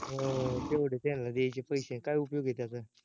हम्म तेवडे त्यांना द्यायचे पैशे, काय उपयोग आहे त्याच